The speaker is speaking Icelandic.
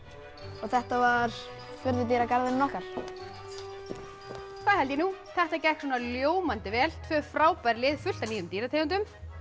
og þetta var furðudýragarðurinn okkar það held ég nú þetta gekk svona ljómandi vel tvö frábær lið fullt af nýjum dýrategundum en